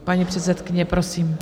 Paní předsedkyně, prosím.